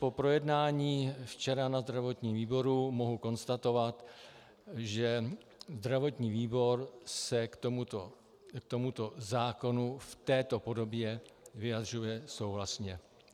Po projednání včera na zdravotním výboru mohu konstatovat, že zdravotní výbor se k tomuto zákonu v této podobě vyjadřuje souhlasně.